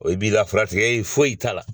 O i b'i ka fura tigɛ yen foyi taa la.